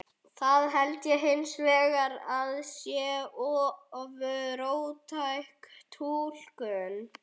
Það held ég hins vegar að sé of róttæk túlkun.